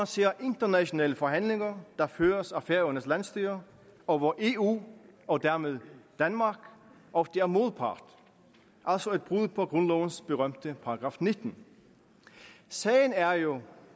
ser internationale forhandlinger der føres af færøernes landsstyre og hvor eu og dermed danmark ofte er modpart altså et brud på grundlovens berømte § nittende sagen er jo